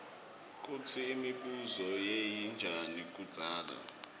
kutsi imibuso beyinjani kudzala